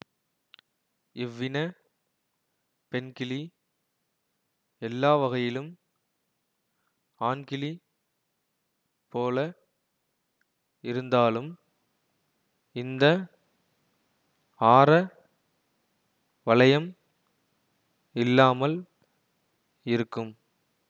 இவ்வின பெண்கிளி எல்லாவகையிலும் ஆண்கிளி போல இருந்தாலும் இந்த ஆர வளையம் இல்லாமல் இருக்கும்